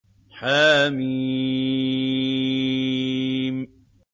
حم